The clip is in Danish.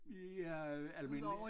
Ja almindelig